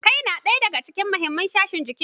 Kai na ɗaya daga cikin muhimin sashen jiki.